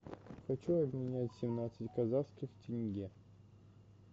хочу обменять семнадцать казахских тенге